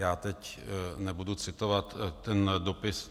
Já teď nebudu citovat ten dopis...